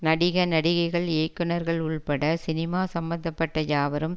நடிக நடிகைகள் இயக்குனர்கள் உள்பட சினிமா சம்பந்த பட்ட யாவரும்